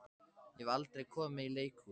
Ég hef aldrei komið í leikhús.